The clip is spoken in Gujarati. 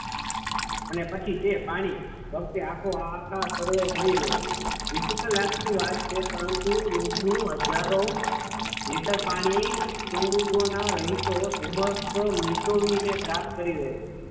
અને પછી તે પાણી ભવ્ય આખા સરોવર ભરી દે છે difficult લગતી વાત છે પરંતુ રોજનું હજારો લિટર પાણી પોર્ટુગલના રહેશો ધુમ્મસ નીચોવીને પ્રાપ્ત કરે છે.